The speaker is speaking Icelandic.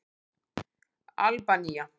Albanía